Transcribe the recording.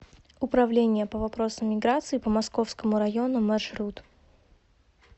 управления по вопросам миграции по московскому району маршрут